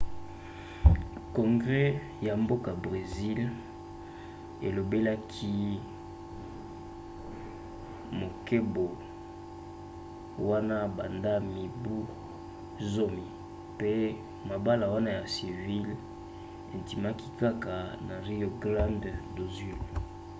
congres ya mboka bresil elobelaki mobeko wana banda mibu 10 mpe mabala wana ya civil endimaki kaka na rio grande do sul